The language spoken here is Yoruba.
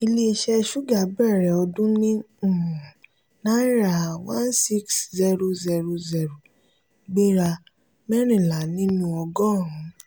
ile-iṣẹ́ suga bẹ̀rẹ̀ ọdún ní um náírà one six zero zero zero gbéra mẹ́rìnlá nínú ogorun.